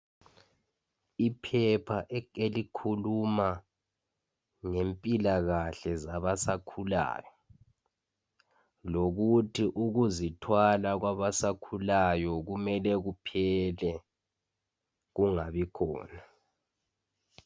Iphepha elikhuluma ngempilakahle zabasakhulayo lokuthi ukuzithwala kwabasakhulayo kumele kuphele kungabikhona.